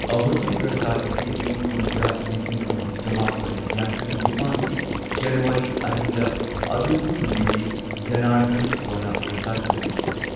ꯑꯍꯨꯇꯤ ꯄ꯭ꯔꯁꯥꯗ ꯑꯁꯤ ꯏꯪ ꯀꯨꯝꯖꯥ ꯂꯤꯁꯤꯡ ꯑꯃ ꯆꯃꯥꯄꯟ ꯌꯥꯡꯈꯩ ꯅꯤꯄꯥꯟꯒꯤ ꯖꯅꯨꯋꯥꯔꯤ ꯑꯅꯤꯗ ꯑꯗꯨꯁꯨꯃꯤꯜꯂꯤ ꯖꯅꯔꯙꯟ ꯋꯥꯔꯥ ꯄ꯭ꯔꯁꯥꯗꯅ ꯑꯣꯏꯈꯤ꯫